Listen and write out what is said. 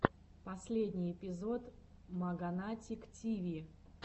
последний эпизод маганатик тиви